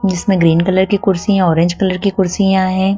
जीसमें green colour की कुर्सी ऑरेंज कलर की कुर्सियां है।